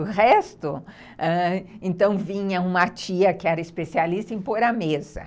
O resto...ãh, então, vinha uma tia que era especialista em pôr a mesa.